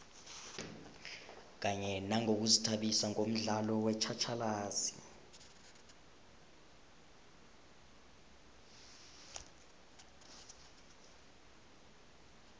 kanye nangokuzithabisa ngomdlalo wetjhatjhalazi